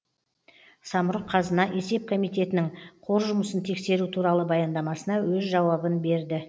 самрұқ қазына есеп комитетінің қор жұмысын тексеру туралы баяндамасына өз жауабын берді